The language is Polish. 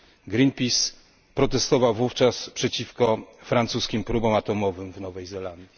Greenpeace protestował wówczas przeciwko francuskim próbom atomowym w Nowej Zelandii.